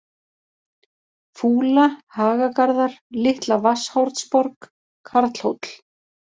Fúla, Hagagarðar, Litla-Vatnshornsborg, Karlhóll